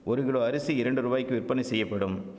ஒரு கிலோ அரிசி இரண்டு ரூவாய்க்கு விற்பனை செய்யப்படும்